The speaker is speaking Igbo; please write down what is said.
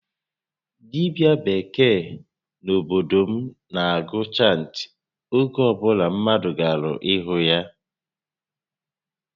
Dibia bekee n'obodo m na agụ chantị oge obula mmadụ gara ịhụ ya